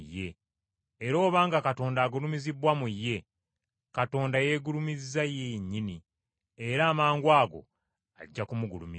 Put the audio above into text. Era obanga Katonda agulumizibbwa mu ye, Katonda yeegulumiza ye yennyini, era amangwago ajja kumugulumiza.